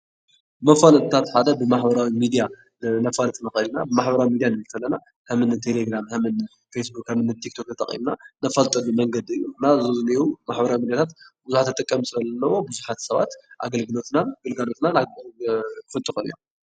መፋለጥታት ሓደ ብማሕበራዊ ሚድያ ክነፋልጥ ንኽእል ኢና፡፡ ብማሕበራዊ ሚድያ ክንብል እንተለና ከም እኒ ቴለግራም፣ ከም እኒ ፌስ ቡክን ፣ ከም እኒ ቲክ ቶክን ተጠቒምና ነፋልጠሉ መንገዲ እዩ፡፡ እና ዘብዚኒአዉ ማሕበራዊ ሚድያ ብዙሓት ተጠቀምቲ ስለዘለውዎ ብዙሓት ሰባት ኣገልግሎትናን ግልጋሎትናን ኣፍልጦ ይረኽቡ እዮም፡፡